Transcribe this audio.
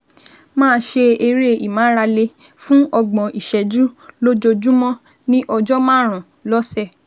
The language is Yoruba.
Máa ṣe eré ìmárale fún ọgbọ̀n ìṣẹ́jú lójoojúmọ́, ní ọjọ́ márùn-ún lọ́sẹ̀